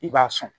I b'a sɔn